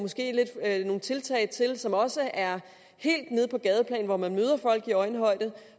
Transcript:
nogle tiltag til som også er helt nede på gadeplan hvor man møder folk i øjenhøjde